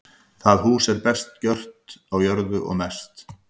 Það hús er best gert á jörðu og mest.